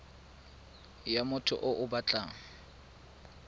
ya motho yo o batlang